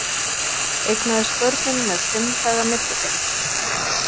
Eignaðist börnin með fimm daga millibili